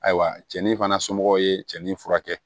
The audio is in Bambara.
Ayiwa cɛnnin fana somɔgɔw ye cɛ nin furakɛ